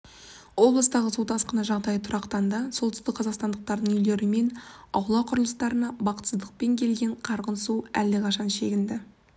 облыстағы су тасқыны жағдайы тұрақтанды солтүстікқазақстандықтардың үйлері мен аула құрылыстарына бақытсыздықпен келген қарғын су әлдеқашан шегінді